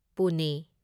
Pune